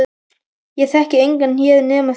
Ég þekki engan hér nema þig.